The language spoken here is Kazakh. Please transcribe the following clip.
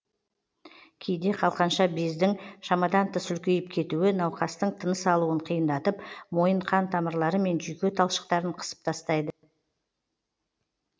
кейде қалқанша бездің шамадан тыс үлкейіп кетуі науқастың тыныс алуын қиындатып мойын қан тамырлары мен жүйке талшықтарын қысып тастайды